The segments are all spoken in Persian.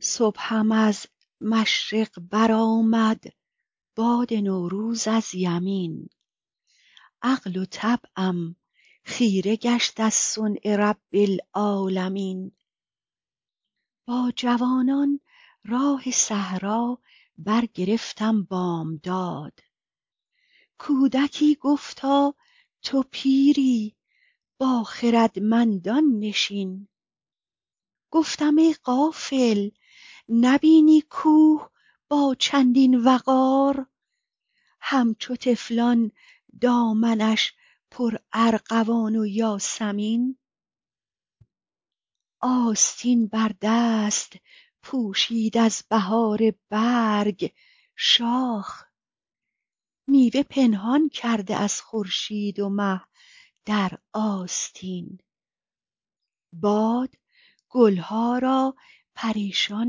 صبحم از مشرق برآمد باد نوروز از یمین عقل و طبعم خیره گشت از صنع رب العالمین با جوانان راه صحرا برگرفتم بامداد کودکی گفتا تو پیری با خردمندان نشین گفتم ای غافل نبینی کوه با چندین وقار همچو طفلان دامنش پرارغوان و یاسمین آستین بر دست پوشید از بهار برگ شاخ میوه پنهان کرده از خورشید و مه در آستین باد گل ها را پریشان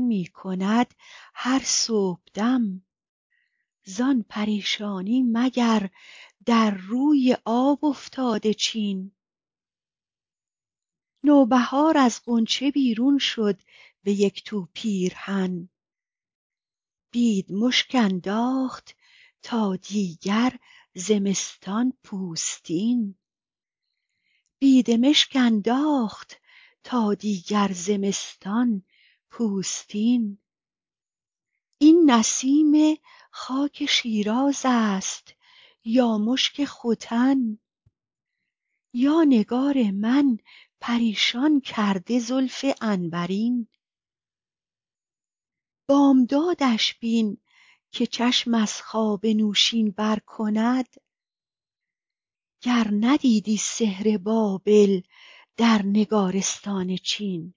می کند هر صبحدم زان پریشانی مگر در روی آب افتاده چین نوبهار از غنچه بیرون شد به یک تو پیرهن بیدمشک انداخت تا دیگر زمستان پوستین این نسیم خاک شیراز است یا مشک ختن یا نگار من پریشان کرده زلف عنبرین بامدادش بین که چشم از خواب نوشین بر کند گر ندیدی سحر بابل در نگارستان چین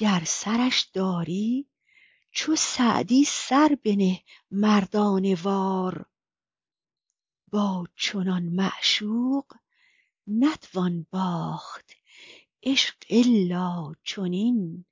گر سرش داری چو سعدی سر بنه مردانه وار با چنین معشوق نتوان باخت عشق الا چنین